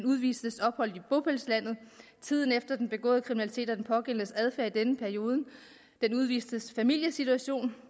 udvistes ophold i bopælslandet tiden efter den begåede kriminalitet og den pågældendes adfærd i denne periode den udvistes familiesituation